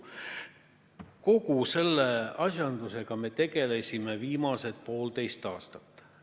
Kogu selle asjandusega me oleme tegelenud viimased poolteist aastat.